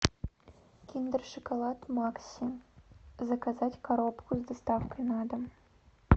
киндер шоколад макси заказать коробку с доставкой на дом